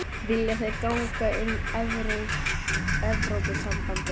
Við förum og tölum við þá, stakk Gunni upp á.